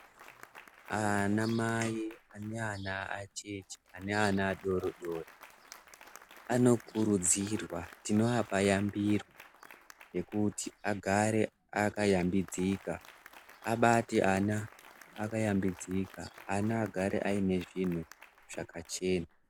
Anamai neana acheche neana adori-dori anokurudzirwa tinoapa yambiro yekuti agare akayambidzika abate ana akayambidzika ana agare aine zvinhu zvakachena.